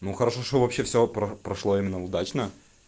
ну хорошо что вообще всё про прошло именно удачно